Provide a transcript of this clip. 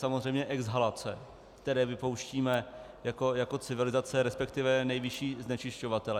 Samozřejmě exhalace, které vypouštíme jako civilizace, respektive nejvyšší znečišťovatelé.